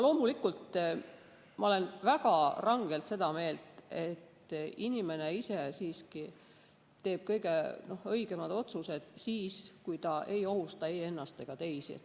Loomulikult olen ma väga rangelt seda meelt, et inimene teeb kõige õigemad otsused siis, kui ta ei ohusta ei ennast ega teisi.